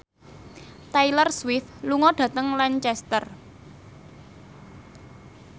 Taylor Swift lunga dhateng Lancaster